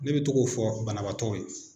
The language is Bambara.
Ne bɛ to k'o fɔ banabaatɔw ye